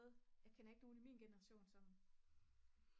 jeg kender ikke nogen i min genration som